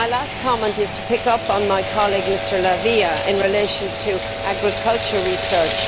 My last comment is to pick up on my colleague, Mr La Via, in relation to agriculture research.